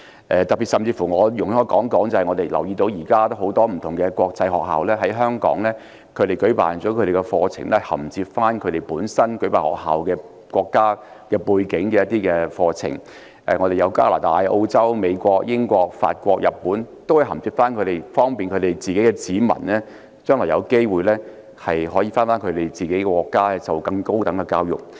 特別是我們留意到，現時多間國際學校在香港舉辦課程，銜接其自身國家的一些課程，例如加拿大、澳洲、美國、英國、法國及日本都有在港開設學校，方便國民將來回國時，可銜接當地更高等的教育。